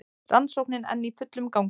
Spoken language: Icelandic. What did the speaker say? Rannsóknin enn í fullum gangi